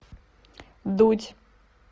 дудь